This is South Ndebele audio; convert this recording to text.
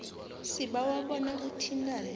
sibawa bona uthintane